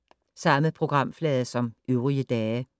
Samme programflade som øvrige dage